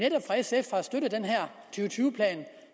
tyve plan